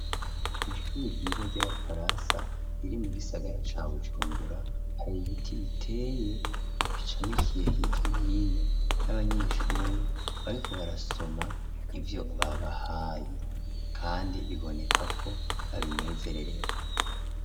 Mu ishuri ryiza ry'abafarasa riri mu gisagara ca bujumbura hari ibiti biteye bicamikiye higya n'ino n'abanyeshuri bariko barasoma ivyo babahaye, kandi biboneka ko babinezererewe.